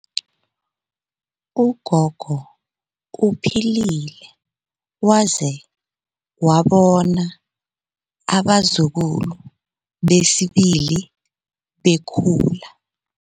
Ugogo uphilile waze wabona abazukulu besibili bekhula.